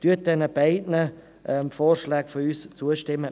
Stimmen Sie unseren beiden Vorschlägen zu.